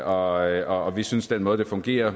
og vi synes den måde det fungerer